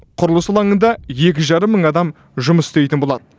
құрылыс алаңында екі жарым мың адам жұмыс істейтін болады